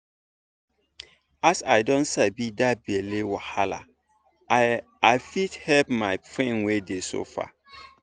as i don sabi that belle wahala i i fit help my friend wey dey suffer.